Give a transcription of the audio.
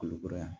Kulukoro yan